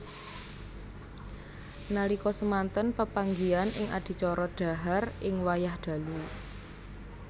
Nalika semanten pepanggihan ing adicara dhahar ing wayah dalu